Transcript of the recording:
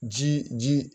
Ji ji